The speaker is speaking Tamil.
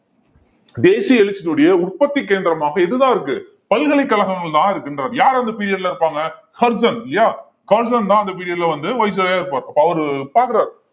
தேசிய எழுச்சியினுடைய உற்பத்தி கேந்திரமாக எதுதான் இருக்கு பல்கலைக்கழகங்கள் தான் இருக்கின்றது யார் அந்த period ல இருப்பாங்க இல்லையா தான் அந்த period ல வந்து இருப்பாரு அப்ப அவரு பாக்கறாரு